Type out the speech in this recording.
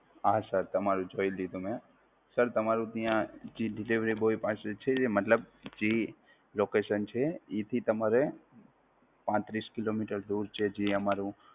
હા Sir તમારું જોઈ લીધું મે! Sir, તમારું અહીયાં હજી Delivery boy પાસે છે. મતલબ જે Location છે, એનથી તમારે પાંત્રીસ kilometers દૂર છે જે અમારું